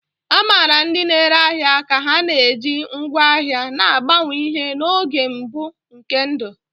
A maara ndị na-ere ahịa ka ha na-eji ngwá ahịa na-agbanwe ihe n'oge mbụ nke ndụ.